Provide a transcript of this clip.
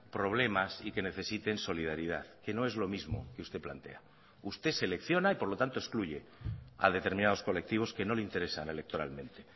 problemas y que necesiten solidaridad que no es lo mismo que usted plantea usted selecciona y por lo tanto excluye a determinados colectivos que no le interesan electoralmente